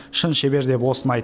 шын шебер деп осыны айт